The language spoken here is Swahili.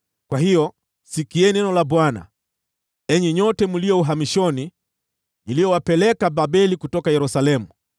Kwa hiyo, sikieni neno la Bwana , enyi nyote mlio uhamishoni, niliowapeleka Babeli kutoka Yerusalemu.